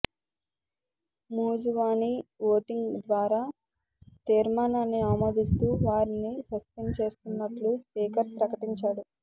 మూజువాణి voting ద్వారా తీర్మానాన్ని ఆమోదిస్తూ వారిని సస్పెండ్ చేస్తున్నట్లు స్పీకర్ ప్రకటించారు